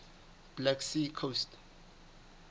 black sea coast